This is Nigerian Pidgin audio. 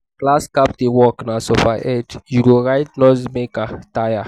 class captain work na suffer head; you go write noise makers tire.